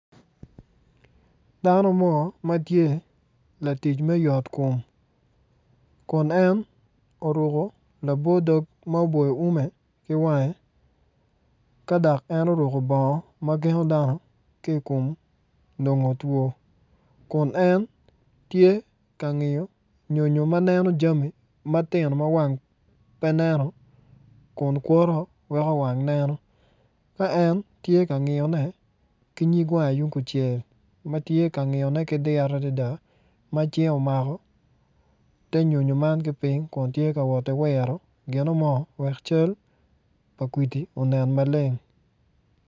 Dano mo ma tye latic me yot kom kun en oruku labo dog ma oboyo ume ki wange ka dak en oruku bongo ma gengo dano ki kom nongon two kun en tye ki ngiyo nyonyo ma neno jami matinoma wang pe neno kun kwoto weko wang neno ka en tye ka ngiyone ki nyig wange yung kuncel ma tye ka ngiyone ki diro adada ma cinge omako te nyo nyo man ki piny kun tye ka woti wiro gino mo wek cal pa ngwidi onen maleng